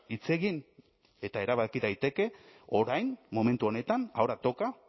hitz egin eta erabaki daiteke orain momentu honetan ahora toca